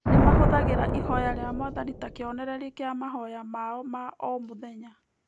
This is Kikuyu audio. Nĩ mahũthagĩra Ihoya rĩa Mwathani ta kĩonereria kĩa mahoya mao ma o mũthenya.